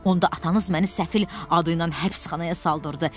Onda atanız məni Səfil adı ilə həbsxanaya saldırdı.